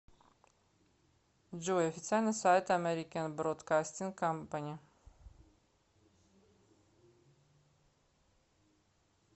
джой официальный сайт америкен бродкастинг компани